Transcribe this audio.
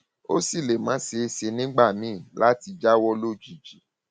ó sì lè má ṣeé ṣe nígbà míì láti jáwọ lójijì